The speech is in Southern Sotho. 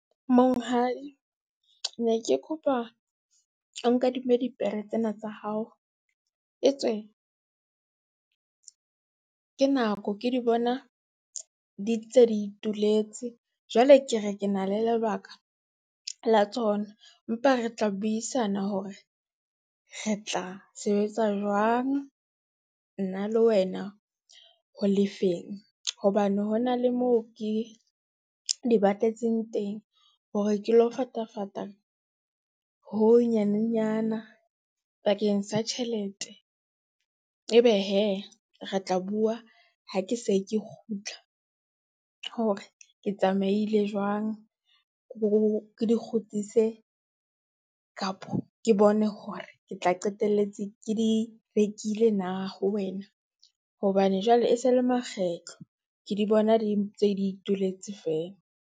Monghadi, ne ke kopa o nkadime dipere tsena tsa hao etswe, ke nako ke di bona di ntse di ituletse. Jwale ke re ke na le lebaka la tsona, mpa re tla buisana hore re tla sebetsa jwang nna le wena ho lefeng. Hobane ho na le moo ke di ba tletseng teng, hore ke lo fatafata ho ho nyanenyana bakeng sa tjhelete. E be hee, re tla bua ha ke se ke kgutla hore ke tsamaile jwang, le di kgutlise kapo ke bone hore ke tla qetelletse ke di rekile na ho wena, hobane jwale e se le makgetlo ke di bona di ntse di ituletse feela.